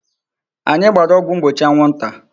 Anyị gbara ọgwụ mgbochi anwụ nta.